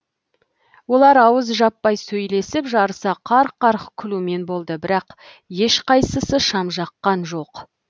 олар ауыз жаппай сөйлесіп жарыса қарқ қарқ күлумен болды бірақ ешқайсысы шам жаққан жоқ